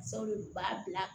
Sabu u b'a bila